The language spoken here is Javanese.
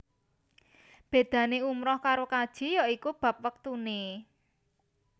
Bédané umrah karo kaji ya iku bab wektuné